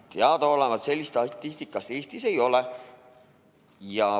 Teadaolevalt sellist statistikat Eestis ei ole.